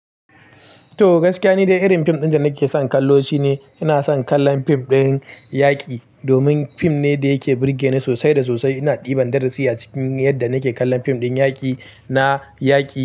To gaskiya, ni dai irin film ɗin da nake son kallo shine ina son kallon film ɗin yaƙi domin film ne da yake burge ni sosai da sosai. Ina ɗiban darasi a cikin yadda nake kallon fim ɗin yaƙi na yaƙi.